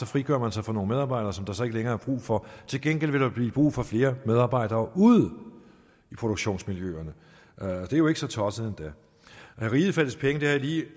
frigør sig fra nogle medarbejdere som der så ikke længere er brug for til gengæld vil der blive brug for flere medarbejdere ude i produktionsmiljøerne og det er jo ikke så tosset endda at riget fattes penge vil jeg lige